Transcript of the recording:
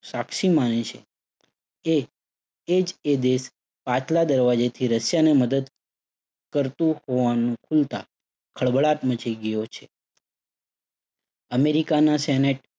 સાક્ષી માને છે, એ, એ જ એ દેશ પાછલા દરવાજેથી રશિયાને મદદ કરતુ હોવાનું ખુલતા ખળબળાટ મચી ગયો છે. અમેરિકાને સેનેટ